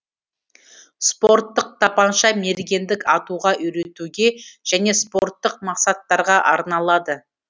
спорттык тапанша мергендік атуға үйретуге және спорттық мақсаттарға арналады